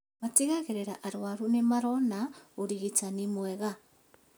Matigagĩrĩra arũaru nĩmarona ũrigitani mwega